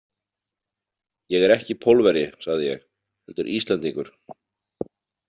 Ég er ekki Pólverji, sagði ég, „heldur Íslendingur“